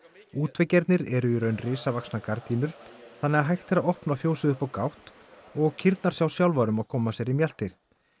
útveggirnir eru í raun risavaxnar gardínur þannig að hægt er að opna fjósið upp á gátt og kýrnar sjá sjálfar um að koma sér í mjaltir